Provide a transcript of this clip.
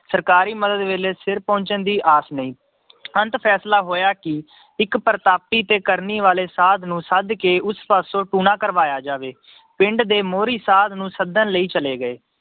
ਸਰਕਾਰੀ ਮਦਦ ਵੇਲੇ ਸਿਰ ਪਹੁੰਚਣ ਦੀ ਆਾਸ ਨਹੀਂ ਅੰਤ ਫੈਸਲਾ ਹੋਇਆ ਕਿ ਇੱਕ ਪ੍ਰਤਾਪੀ ਤੇ ਕਰਨੀ ਵਾਲੇ ਸਾਧ ਨੂੰ ਸੱਦ ਕੇ ਉਸ ਪਾਸੋਂ ਟੂਣਾ ਕਰਵਾਇਆ ਜਾਵੇ ਪਿੰਡ ਦੇ ਮੋਹਰੀ ਸਾਧ ਨੂੰ ਸੱਦਣ ਲਈ ਚਲੇ ਗਏ।